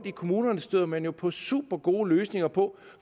i kommunerne støder man jo på supergode løsninger på